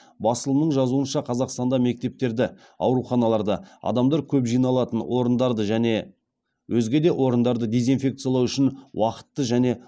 басылымның жазуынша қазақстанда мектептерді ауруханаларды адамдар көп жиналатын орындарды және өзге де орындарды дезинфекциялау үшін уақытты және